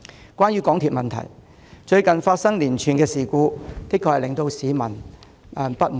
有關港鐵的問題，最近發生的連串事故確實令市民感到相當不滿。